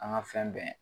An ka fɛn bɛɛ